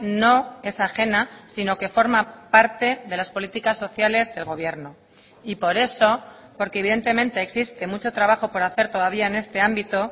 no es ajena sino que forma parte de las políticas sociales del gobierno y por eso porque evidentemente existe mucho trabajo por hacer todavía en este ámbito